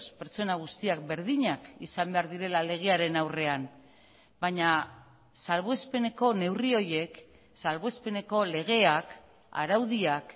pertsona guztiak berdinak izan behar direla legearen aurrean baina salbuespeneko neurri horiek salbuespeneko legeak araudiak